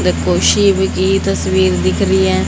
मेरे को शिव की तस्वीर दिख रही है।